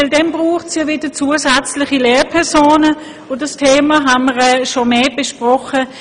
Dazu braucht es dann wieder zusätzliche Lehrpersonen, und dieses Thema haben wir schon öfter besprochen.